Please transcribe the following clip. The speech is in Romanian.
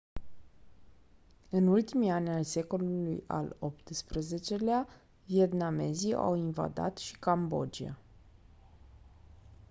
în ultimii ani ai secolului al xviii-lea vietnamezii au invadat și cambodgia